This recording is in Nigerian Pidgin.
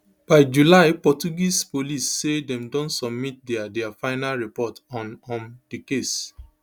byjulyportuguese police say dem don submit dia dia final report on um di case